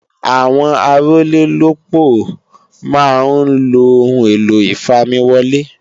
Àwọn Arólélópòó máa ń lo Ohun èlò ìfamiwọlé